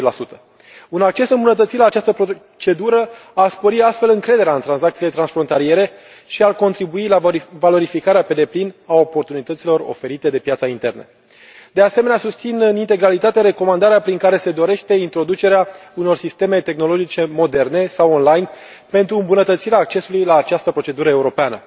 40 Un acces îmbunătățit la această procedură ar spori astfel încrederea în tranzacțiile transfrontaliere și ar contribui la valorificarea pe deplin a oportunităților oferite de piața internă. De asemenea, susțin în integralitate recomandarea prin care se dorește introducerea unor sisteme tehnologice moderne sau online pentru îmbunătățirea accesului la această procedură europeană.